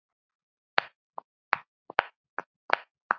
Hann var frábær.